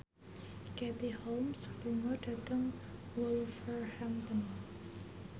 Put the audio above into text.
Katie Holmes lunga dhateng Wolverhampton